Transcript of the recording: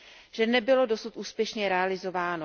že nebylo dosud úspěšně realizováno.